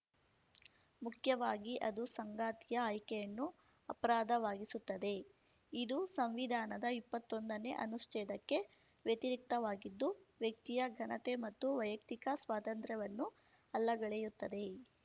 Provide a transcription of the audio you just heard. ಮುಖ್ಯವಾಗಿ ಅದು ಸಂಗಾತಿಯ ಆಯ್ಕೆಯನ್ನು ಅಪರಾಧವಾಗಿಸುತ್ತದೆ ಇದು ಸಂವಿಧಾನದ ಇಪ್ಪತ್ತೊಂದನೇ ಅನುಚ್ಛೇದಕ್ಕೆ ವ್ಯತಿರಿಕ್ತವಾಗಿದ್ದು ವ್ಯಕ್ತಿಯ ಘನತೆ ಮತ್ತು ವೈಯಕ್ತಿಕ ಸ್ವಾತಂತ್ರ್ಯವನ್ನು ಅಲ್ಲಗಳೆಯುತ್ತದೆ